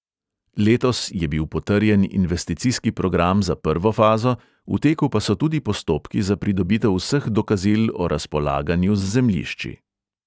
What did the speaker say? Letos je bil potrjen investicijski program za prvo fazo, v teku pa so tudi postopki za pridobitev vseh dokazil o razpolaganju z zemljišči.